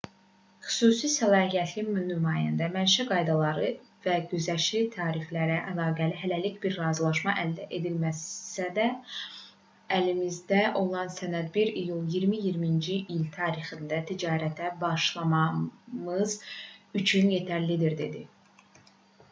xüsusi səlahiyyətli nümayəndə mənşə qaydaları və güzəştli tariflərlə əlaqəli hələlik bir razılaşma əldə edilməsə də əlimizdə olan sənəd 1 iyul 2020-ci il tarixində ticarətə başlamamız üçün yetərlidir dedi